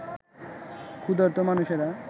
ক্ষুধার্ত মানুষেরা